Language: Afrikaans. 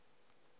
aangaan de goeie